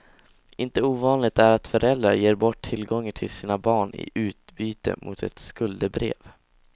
Inte ovanligt är att föräldrar ger bort tillgångar till sina barn i utbyte mot ett skuldebrev.